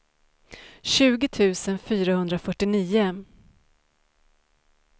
tjugo tusen fyrahundrafyrtionio